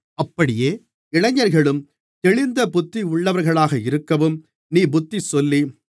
அப்படியே இளைஞர்களும் தெளிந்த புத்தியுள்ளவர்களாக இருக்கவும் நீ புத்திசொல்லி